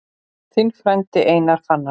Þinn frændi, Karl Fannar.